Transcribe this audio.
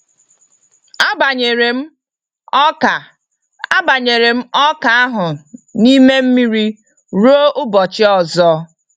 Abanyere m ọka Abanyere m ọka ahu n'ime mmiri rue ụbọchị ọzọ.